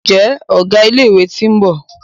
Njé Ọgá ilé ìwé t'in bó?